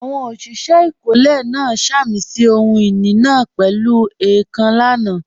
Àwọn òṣìṣẹ́ ìkọ́lé náà sàmì sí ohun ìní náà pẹ̀lú èèkàn lánàá